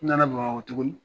N na na Bamakɔ tuguni.